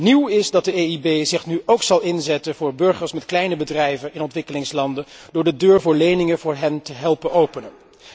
Nieuw is dat de EIB zich nu ook zal inzetten voor burgers met kleine bedrijven in ontwikkelingslanden, door de deur voor leningen voor hen te helpen openen.